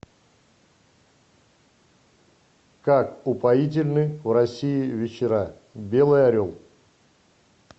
как упоительны в россии вечера белый орел